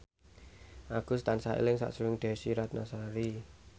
Agus tansah eling sakjroning Desy Ratnasari